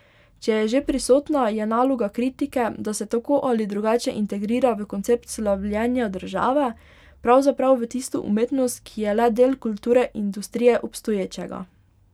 Če je že prisotna, je naloga kritike, da se tako ali drugače integrira v koncept slavljenja države, pravzaprav v tisto umetnost, ki je le del kulturne industrije obstoječega.